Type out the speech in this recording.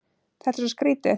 Þetta er svo skrýtið.